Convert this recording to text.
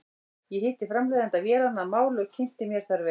Ég hitti framleiðanda vélanna að máli og kynnti mér þær vel.